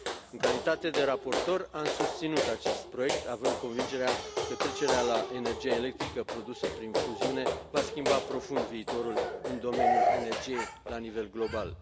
În calitate de raportor, am susținut acest proiect, având convingerea că trecerea la energia electrică produsă prin fuziune va schimba profund viitorul în domeniul energiei la nivel global.